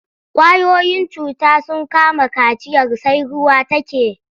Ƙwayoyin cuta sun kama kaciyar sai ruwa take.